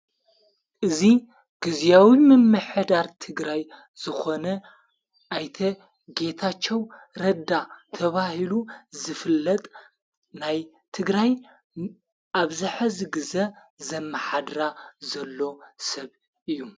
እዙ ጊዜያዊ ምመኅዳር ትግራይ ዝኾነ ኣይተ ጌታኸዉ ረዳ ተባሂሉ ዘፍለጥ ናይ ትግራይ ኣብዝኅ ዝ ግዘ ዘመሓድራ ዘሎ ሰብ እዩ።